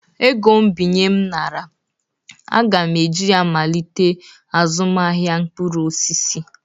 ego mbinye m nara, m ga-eji ya malite azụmahịa mkpụrụ osisi